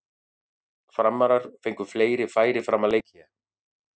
Framarar fengu fleiri færi fram að leikhléi.